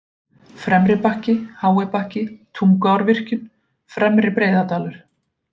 Fremri-Bakki, Hái-Bakki, Tunguárvirkjun, Fremri Breiðadalur